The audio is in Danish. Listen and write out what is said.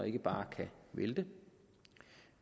ikke bare kan vælte